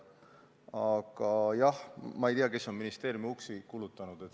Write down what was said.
Aga jah, ma ei tea, kes on ministeeriumi uksi kulutanud.